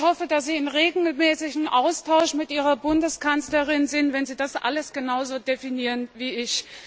Herr Mann, ich hoffe, dass Sie in regelmäßigem Austausch mit Ihrer Bundeskanzlerin sind, wenn Sie das alles genau so definieren wie ich.